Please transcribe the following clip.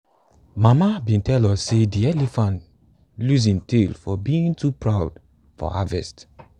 mama um tell us seyde elephant lose im tail for being too proud for harvest